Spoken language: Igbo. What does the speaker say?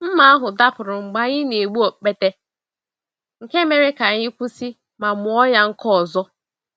Mma ahụ dapụrụ mgbe anyị n'egbu okpete, nke mere ka anyị kwụsị ma mụọ ya nkọ ọzọ.